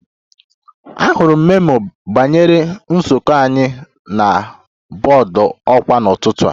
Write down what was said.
Ahụrụ m memo banyere nzukọ anyị na bọọdụ ọkwa n'ụtụtụ a